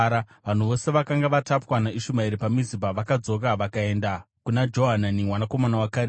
Vanhu vose vakanga vatapwa naIshumaeri paMizipa vakadzoka vakaenda kuna Johanani mwanakomana waKarea.